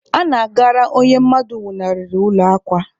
A na-agara onye mmadụ nwụnarịrị ụlọ akwa.